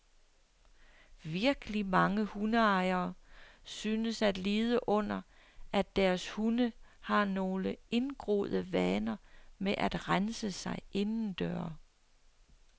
Virkelig mange hundeejere synes at lide under, at deres hunde har nogle indgroede vaner med at rense sig indendøre.